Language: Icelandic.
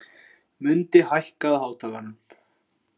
Mundi, hækkaðu í hátalaranum.